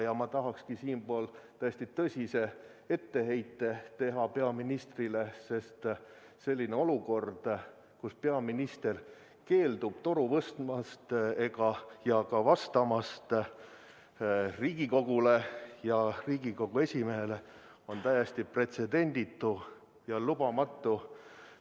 Ja ma tahangi teha täiesti tõsise etteheite peaministrile, sest selline olukord, kus peaminister keeldub toru tõstmast ja ka muul moel vastamast Riigikogule ja Riigikogu esimehele, on täiesti pretsedenditu ja lubamatu.